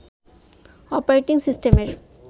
operating সিস্টেমের